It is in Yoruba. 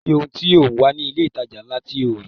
Kò sì ohun tí ò ń wá ní ilé ìtajà ńlá tí ò ní rí